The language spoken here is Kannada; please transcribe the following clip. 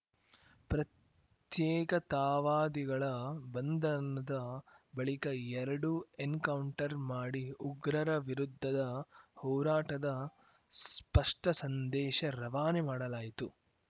ಪ್ರತ್ಯೇಕತಾವಾದಿಗಳ ಬಂಧನದ ಬಳಿಕ ಎರಡು ಎನ್‌ಕೌಂಟರ್‌ ಮಾಡಿ ಉಗ್ರರ ವಿರುದ್ಧದ ಹೋರಾಟದ ಸ್ಪಷ್ಟಸಂದೇಶ ರವಾನೆ ಮಾಡಲಾಯಿತು